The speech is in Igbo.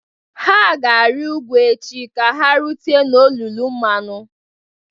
Ha ga-arị ugwu echi ka ha rute n'olulu mmanụ